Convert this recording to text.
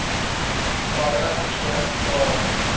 baie keer dae